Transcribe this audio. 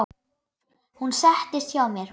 Hún settist hjá mér.